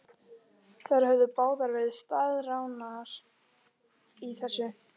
Þær höfðu báðar verið staðráðnar í þessu.